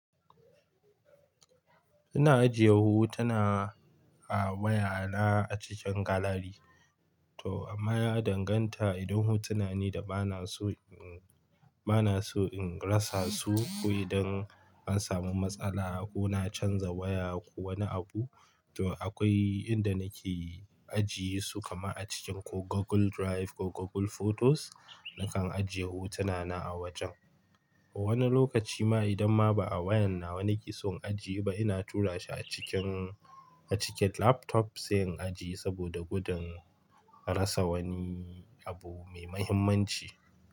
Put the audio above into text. Ina ajiye hotuna a waya na a cikin gallery. To amma ya danganta idan hotuna ne da bana so in, bana so in rasa su ko idan an samu matsala ko na canza waya ko wani abu, to akwai inda nake ajiye su kamar a cikin ko Google Drive ko Google Photos. Nakan ajiye hotuna na a wajen. Wani lokaci ma idan ma ba a wayan nawa nake so in ajiye ba, ina tura shi a cikin, a cikin laptop sai in ajiye saboda gudun rasa wani abu mai mahimmanci.